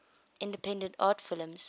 independent art films